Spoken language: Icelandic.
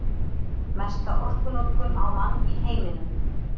Mesta orkunotkun á mann í heiminum